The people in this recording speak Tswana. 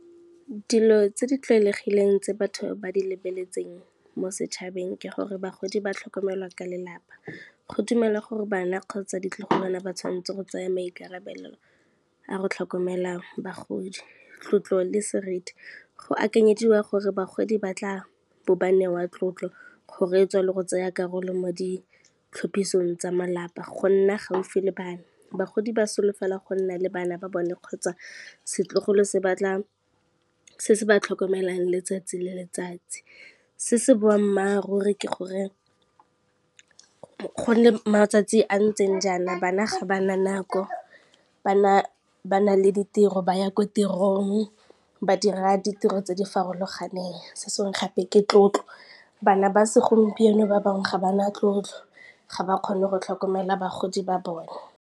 Dilo tse di tlwaelegileng tse batho ba di lebeletseng mo setšhabeng ke gore bagodi ba tlhokomelwa ka lelapa. Go dumela gore bana kgotsa ditlogolwana ba tshwanetse go tsaya maikarabelo a go tlhokomela bagodi. Tlotlo le seriti, go akanyediwa gore bagodi ba tla bo ba newa tlotlo, go reetswa le go tsaya karolo mo ditlhophisong tsa malapa go nna gaufi le bana, bagodi ba solofela go nna le bana ba bone kgotsa setlogolo se se ba tlhokomelang letsatsi le letsatsi. Se se boammaaruri ke gore, go nne matsatsi a ntseng jaana bana ga bana nako ba na le ditiro ba ya ko tirong ba dira ditiro tse di farologaneng, se senge gape ke tlotlo bana ba segompieno ba bangwe ga bana tlotlo ga ba kgone go tlhokomela bagodi ba bone.